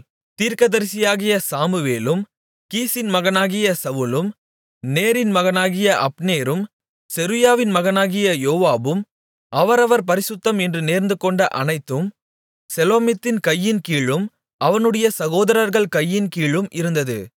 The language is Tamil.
தீர்க்கதரிசியாகிய சாமுவேலும் கீசின் மகனாகிய சவுலும் நேரின் மகனாகிய அப்னேரும் செருயாவின் மகனாகிய யோவாபும் அவரவர் பரிசுத்தம் என்று நேர்ந்துகொண்ட அனைத்தும் செலோமித்தின் கையின்கீழும் அவனுடைய சகோதரர்கள் கையின்கீழும் இருந்தது